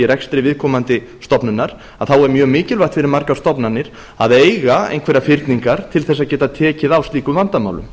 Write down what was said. rekstri viðkomandi stofnunar þá er mjög mikilvægt fyrir margar stofnanir að eiga einhverjar fyrningar til að geta tekið á slíku vandamáli